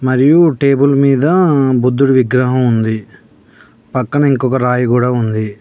మరియు టేబుల్ మీద బుద్ధుడి విగ్రహం ఉంది పక్కన ఇంకొక రాయి కూడా ఉంది.